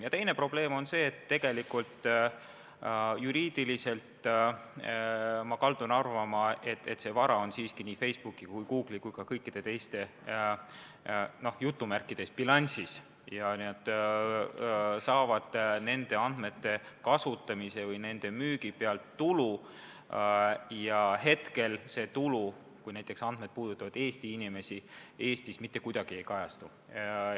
Ja teine probleem on see, et juriidiliselt, ma kaldun arvama, see vara on siiski Facebooki ja Google'i ja ka kõikide teiste "bilansis" ja nad saavad nende andmete kasutamise või nende müügi pealt tulu ja see tulu, kui näiteks andmed puudutavad Eesti inimesi, Eestis mitte kuidagi ei kajastu.